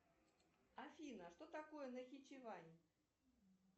афина что такое нахичевань